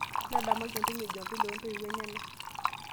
ntadamuaki entumo jumapili ontoiwuo enyena